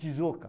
Shizuoka.